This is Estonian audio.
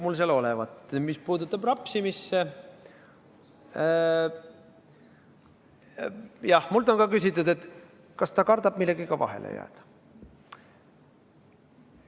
Mis puudutab rapsimist, siis jah, minult on küsitud, et kas ta kardab millegagi vahele jääda.